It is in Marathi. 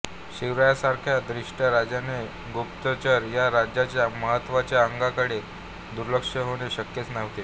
शिवरायांसारख्या द्रष्टय़ा राजाचे गुप्तचर या राज्याच्या महत्त्वाच्या अंगाकडे दुर्लक्ष होणे शक्यच नव्हते